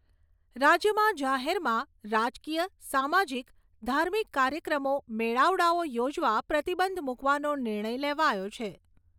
રાજ્યમાં જાહેરમાં રાજકીય સામાજીક, ધાર્મિક કાર્યક્રમો મેળાવડાઓ યોજવા પ્રતિબંધ મુકવાનો નિર્ણય લેવાયો છે.